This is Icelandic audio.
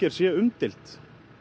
sé umdeild